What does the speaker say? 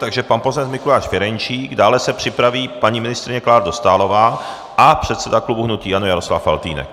Takže pan poslanec Mikuláš Ferjenčík, dále se připraví paní ministryně Klára Dostálová a předseda klubu hnutí ANO Jaroslav Faltýnek.